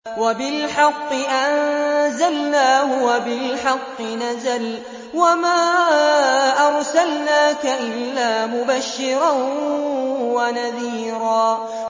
وَبِالْحَقِّ أَنزَلْنَاهُ وَبِالْحَقِّ نَزَلَ ۗ وَمَا أَرْسَلْنَاكَ إِلَّا مُبَشِّرًا وَنَذِيرًا